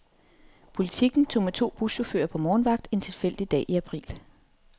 Politiken tog med to buschauffører på morgenvagt en tilfældig dag i april.